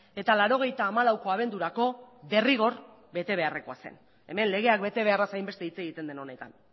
eta laurogeita hamalauko abendurako derrigor bete beharrekoa zen hemen legeak bete beharraz hainbeste hitz egiten den honetan